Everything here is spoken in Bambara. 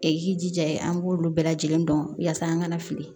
E k'i jija an b'olu bɛɛ lajɛlen dɔn yaasa an kana fili